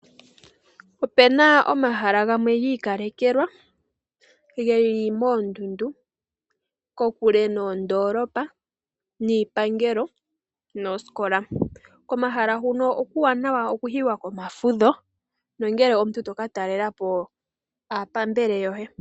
Ope na omahala gamwe gi ikalekelwa ge li moondundu kokule noondoolopa, iipangelo noosikola. Komahala huka okuuwanawa okuyiwa komafudho nongele omuntu to ka talela po aapambele yoye.